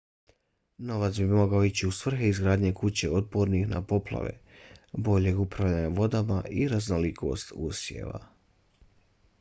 novac bi mogao ići u svrhe izgradnje kuća otpornih na poplave boljeg upravljanja vodama i raznolikosti usjeva